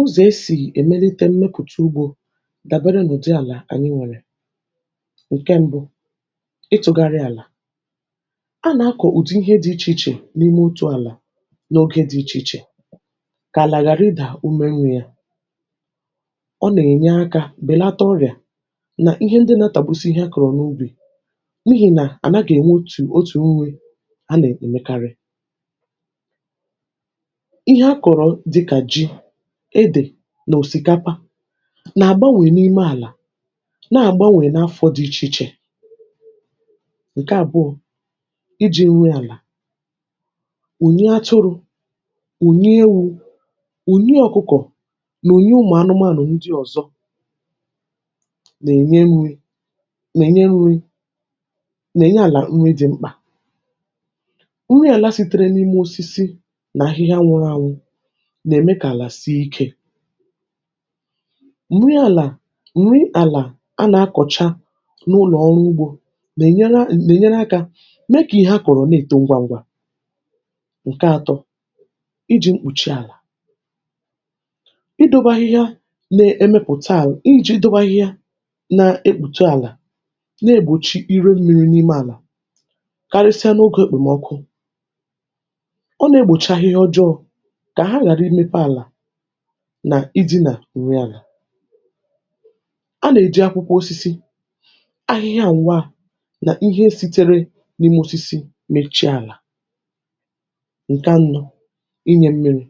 ụzọ̀ esì èmelite mmepụ̀ta ugbȯ dàbere n’ụ̀dị àlà ànyị nwèrè: Nke mbụ, ịtụ̇gharị àlà; A nà-akọ̀ ùdị ihe dị ichè ichè n’ime òtù àlà n’ogė dị ichè ichè, kà àlà ghàrị idà ume nwė ya. Ọ nà-ènye akȧ bèlata ọrịà nà ihe ndị na-atàbusi ihe akọ̀rọ̀ n’ubì n’ihi nà àna gà-ènwe otù otù nwe a nà-èmekarị. Ihe akụru dịkà ji, ede nà òsìkapa, nà àgbanwè n’ime àlà nà àgbanwè n’afọ̇ dị ichè ichè. Nkè àbụọ,̇ iji̇ nri àla; unyi atụrụ,̇ unyi ewu,̇ unyi ọ̀kụkọ̀, nà unyi ụmụ̀ anụmȧnụ ndị ọ̀zọ, nà-ènye nri, nà ènye nri, nà-ènye àlà nri dị̇ mkpà. Nri àla sitere n’ime osisi nà ahịhịa nwụrụ ànwụ, nà-emè kà àlà sie ikė. Nri àlà, nri àlà anà-akọ̀cha n’ụlọ̀ ọrụ ugbȯ n'ènyere, n'ènyere akȧ meè kà ihe a kọ̀rọ̀ na-èto ngwa ngwa. Nkè atọ, iji̇ mkpùchi àlà; Idobe ahịhịa na-emepùta àlà iji̇ idobe ahịhịa na-ekpùta àlà na-egbòchi irù mmi̇ri̇ n’ime àlà karịsịa n’ogȯ èkpòmọkụ, ọ na-egbòchị̇ahịhịa ọjọọ kà ha ghàrà ịmepe àlà ̇ nà iji nà ùri àlà. A nà-èji akwụkwọ osisi, ahịhịa ǹwaa nà ihe sitere n’imė osisi mechie àlà. Nkè anọ,̇ inyė mmiri;̇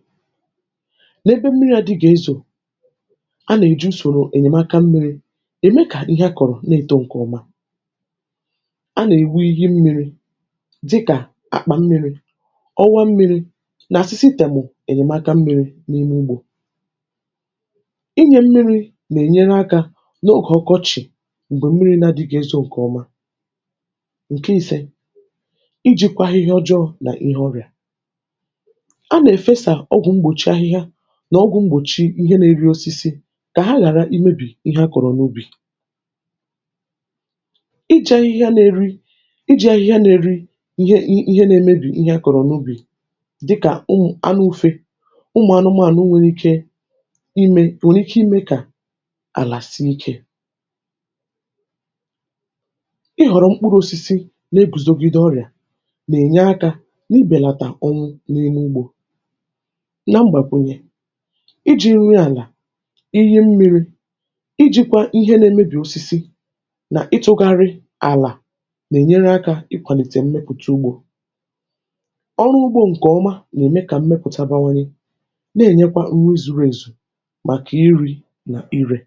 N’ebe mmiri̇ adịghi̇ezò, a nà-èji usòrò ènyèmaka mmiri,̇ ème kà ihe a kọ̀rọ̀ na-èto ǹkèọma. A nà-èwi ihe mmiri̇ dịkà; àkpà mmiri,̇ ọwa mmiri,̇ nà sịsị temù ènyèmaka mmiri̇ n’ime ugbȯ. ịnyė mmi̇ri̇ nà ènyere akȧ n’ogè ọkọchị m̀gbè mmiri̇ na dịghị ezọ̇ ǹkẹ̀ ọma. Nkè ise, ijikwa ahịhịa ọjọọ nà ihe ọrị̀à; a nà-èfesà ọgwụ̀ mgbòchi ahịhịa nà ọgwụ̇ mgbòchi ihe na-eri osisi kà ha ghàra i mebì ihe akọ̀rọ̀ n’ubì. iche Ihe a na-eri,̇iche Ihe a nȧ-ėri ihe na-eme bì ihe akọ̀rọ̀ n’ubì dịkà ụmụ̀ anụ u̇fe, ụmụ anụmȧnụ nwèrè ike ịme, nwèrè ike ịme ime kà àlà sie ikė. Ighòrò mkpụrụ osisi na-eguzogide ọrịà nà-enyè akà n'ibelata onwu n'ime ùgbò. Na mgbàkwunye, ịjì nri àlà, Ihe mmirị, ijikwa Ihe n'emebi osisi, na-itughari àlà, nà-enyère aka ikwalite mmepụtà ùgbò. Ọru ùgbò nkè oma nà-emè kà mmepụtà bawanye n'ènyekwa ụrụ zụrụ ezù, ma nkè iri nà ire.